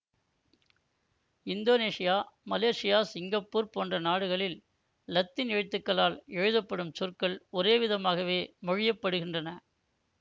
Indonesia Malaysia Singapore போன்ற நாடுகளில் இலத்தீன் எழுத்துக்களால் எழுதப்படும் சொற்கள் ஒரே விதமாகவே மொழியப்படுகின்றன